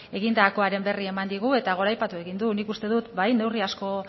egindakoaren berri eman digu eta goraipatu egin du nik uste dut bai neurri asko